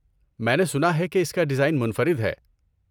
میں نے سنا ہے کہ اس کا ڈیزائن منفرد ہے۔